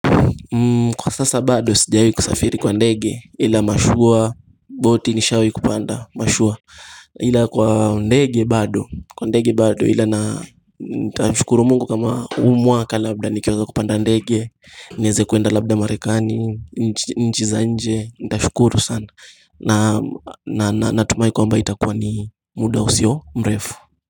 Kwa sasa bado sijawai kusafiri kwa ndege ila mashua boti nishawi kupanda mashua Ila kwa ndege bado kwa ndege bado ila na nitashukuru mungu kama huu mwaka labda nikeweza kupanda ndege niweze kuenda labda marekani nchi za nje nitashukuru sana na natumai kwamba itakuwa ni muda usio mrefu.